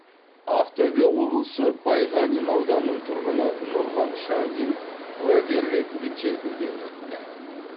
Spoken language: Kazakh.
ақтөбе облысы байғанин ауданының тұрғыны нұрлан шандин куәгер ретінде тергеуден өтті